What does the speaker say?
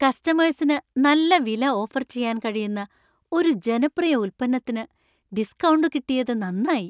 കസ്റ്റമേഴ്സിന് നല്ല വില ഓഫര്‍ ചെയ്യാന്‍ കഴിയുന്ന ഒരു ജനപ്രിയ ഉൽപ്പന്നത്തിന് ഡിസ്‌കൗണ്ട് കിട്ടിയതു നന്നായി.